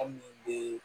An min bɛ